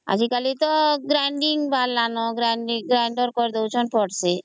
ଆଜି କଲି ତ Grainder ବାହାରିଲା ନ Grain ଡୀଂଗ କରି ଡାଉଛନ୍ତ ସମସ୍ତେ